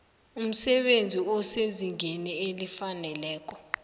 umsebenzi osezingeni elifaneleko